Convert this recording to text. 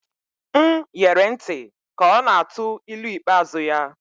M ghere ntị ka ọ na-atụ ilu ikpeazụ ya